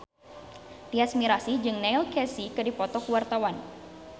Tyas Mirasih jeung Neil Casey keur dipoto ku wartawan